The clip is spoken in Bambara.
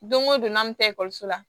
Don o don n'an bɛ ekɔliso la